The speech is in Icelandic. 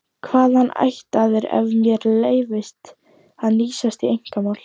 Hvaðan ættaður ef mér leyfist að hnýsast í einkamál?